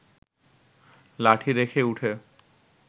লাঠি রেখে উঠে